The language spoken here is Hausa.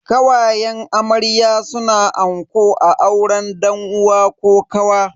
Kawayen amarya suna anko a auren dan uwa ko kawa.